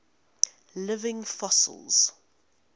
living fossils